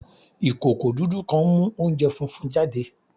Ikoko dudu kan nmu ounjẹ funfun jade